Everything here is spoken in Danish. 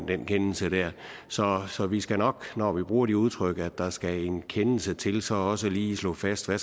den kendelse så så vi skal nok når vi bruger udtrykket at der skal en kendelse til så også lige slå fast hvad